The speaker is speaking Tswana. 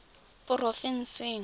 porofensing